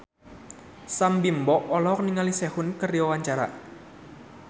Sam Bimbo olohok ningali Sehun keur diwawancara